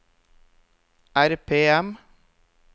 RPM